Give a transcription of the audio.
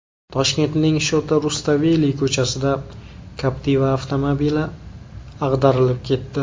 Toshkentning Shota Rustaveli ko‘chasida Captiva avtomobili ag‘darilib ketdi.